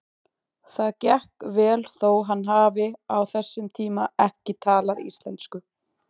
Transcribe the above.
Það gekk vel þó hann hafi á þessum tíma ekki talað íslensku.